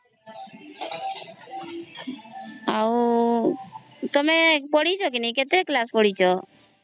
ଆଉ ତମେ ପଢିଛ କେ ନାହିଁ କେତେ କ୍ଲାସ ପଡ଼ିଛ